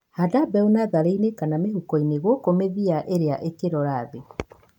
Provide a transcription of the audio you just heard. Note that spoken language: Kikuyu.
Handa mbegu natharĩini kana mĩhukoini gũkũ mĩthia ĩria ĩkĩrora thĩ.